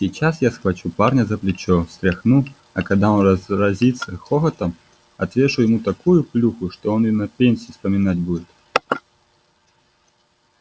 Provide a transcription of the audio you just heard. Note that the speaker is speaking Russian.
сейчас я схвачу парня за плечо встряхну а когда он разразится хохотом отвешу ему такую плюху что он её и на пенсии вспоминать будет